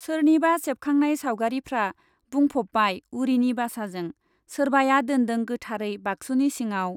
सोरनिबा सेबखांनाय सावगारिफ्रा बुंफ'बबाय उरिनि बासाजों, सोरबाया दोनदों गोथारै बागसुनि सिंआव।